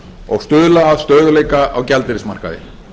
og stuðla að stöðugleika á gjaldeyrismarkaði